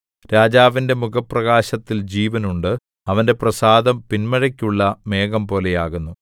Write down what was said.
രാജാവിന്റെ മുഖപ്രകാശത്തിൽ ജീവൻ ഉണ്ട് അവന്റെ പ്രസാദം പിന്മഴയ്ക്കുള്ള മേഘംപോലെയാകുന്നു